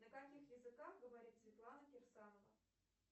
на каких языках говорит светлана кирсанова